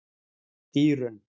Dýrunn